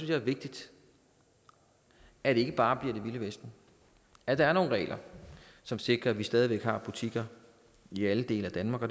jeg er vigtigt at det ikke bare bliver det vilde vesten at der er nogle regler som sikrer at vi stadig væk har butikker i alle dele af danmark og